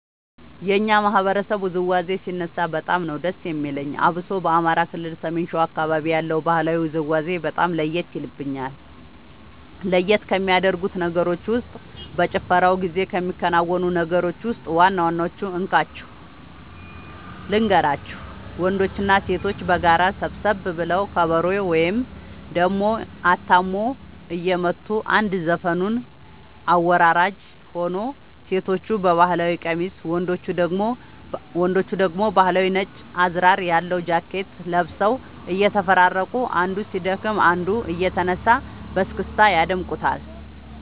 የኛ ማህበረሰብ ውዝዋዜ ሲነሳ በጣም ነዉ ደስ የሚለኝ አብሶ በአማራ ክልል ሰሜን ሸዋ አካባቢ ያለው ባህላዊ ውዝውዜ በጣም ለየት የልብኛል። ለየት ከሚያደርጉት ነገሮች ውስጥ በጭፈራው ጊዜ ከሚከናወኑት ነገሮች ውስጥ ዋና ዋናወቹን እንካችሁ ልንገራችሁ ወንዶችና ሴቶች በጋራ ሰብሰብ ብለው ከበሮ ወይም ደሞ አታሞ እየመቱ አንድ ዘፈኑን አወራራጅ ሆኖ ሴቶቹ በባህል ቀሚስ ወንዶቹ ደግሞ ባህላዊ ነጭ አዝራር ያለው ጃኬት ለብሰው እየተፈራረቁ አንዱ ሲደክም አንዱ እየተነሳ በስክስታ ያደምቁታል